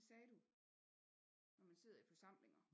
Det sagde du når du sidder i forsamlinger